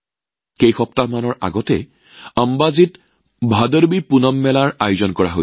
কেইসপ্তাহমানৰ আগতে আম্বাজীত ভদৰৱীপুনম মেলাৰ আয়োজন কৰা হৈছিল